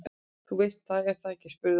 Þú veist það, er það ekki spurði hún.